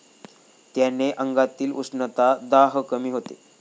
त्याने अंगातील उष्णता, दाह कमी होतो.